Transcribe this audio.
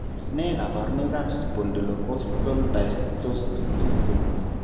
Nee kabarunoikab spondylocostal dysostosis 3?